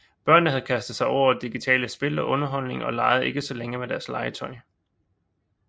Børnene havde kastet sig over digitale spil og underholdning og legede ikke så længe med deres legetøj